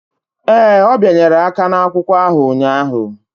Ee, ọ bịanyere aka n'akwụkwọ ahụ ụnyahụ.